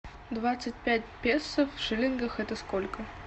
двадцать пять песо в шиллингах это сколько